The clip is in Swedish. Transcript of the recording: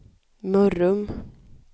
Mörrum